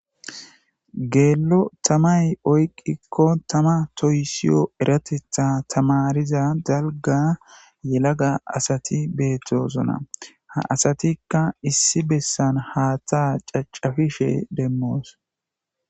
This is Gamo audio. geelo tamay oyqqikko tama toyisiyo eratetha tamariza dalga yelaga asati beettosona ha asatikka issi bessan haataa cacafishe demmoos